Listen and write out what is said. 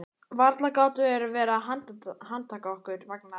Varla gátu þeir verið að handtaka okkur vegna þess.